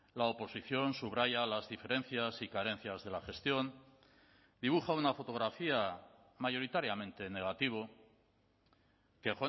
la oposición subraya las diferencias y carencias de la gestión dibuja una fotografía mayoritariamente en negativo que